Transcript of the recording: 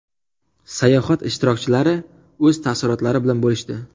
Sayohat ishtirokchilari o‘z taassurotlari bilan bo‘lishdi .